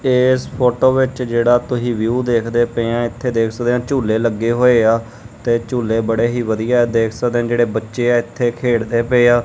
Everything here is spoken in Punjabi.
ਏਸ ਫ਼ੋਟੋ ਵਿੱਚ ਜੇਹੜਾ ਤੁਸੀ ਵਿਊ ਦੇਖਦੇ ਪਏ ਹੋਂ ਏੱਥੇ ਦੇਖ ਸਕਦੇਆਂ ਝੂੱਲੇ ਲੱਗੇ ਹੋਏ ਆ ਤੇ ਝੂੱਲੇ ਬੜੇ ਹੀ ਵਧੀਆ ਦੇਖ ਸਕਦੇਆਂ ਜੇਹੜੇ ਬੱਚੇ ਆ ਏੱਥੇ ਖੇਡ ਦੇ ਪਏ ਆ।